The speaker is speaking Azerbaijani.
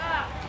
Qardaş!